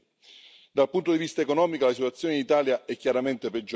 Dal punto di vista economico la situazione in Italia è chiaramente peggiorata.